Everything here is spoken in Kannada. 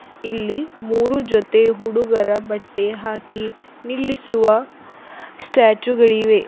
ಇಲ್ಲಿ ಮೂರು ಜೊತೆ ಹುಡುಗರ ಬಟ್ಟೆ ಹಾಕಿ ನಿಲ್ಲಿಸುವ ಸ್ಟ್ಯಾಚು ಗಳಿವೆ.